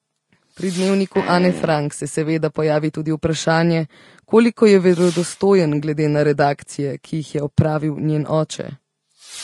Pri Dnevniku Ane Frank se seveda pojavi tudi vprašanje, koliko je verodostojen glede na redakcije, ki jih je opravil njen oče.